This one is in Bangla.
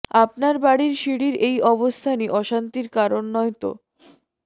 আপনার বাড়ির সিঁড়ির এই অবস্থানই অশান্তির কারণ নয় তো